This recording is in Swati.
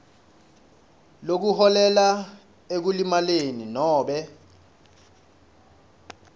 lokuholela ekulimaleni nobe